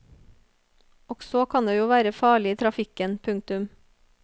Også kan det jo være farlig i trafikken. punktum